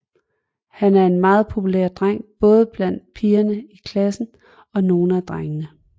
Han er en meget populær dreng både blandt pigerne i klassen og nogle af drengene